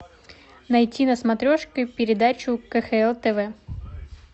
найти на смотрешке передачу кхл тв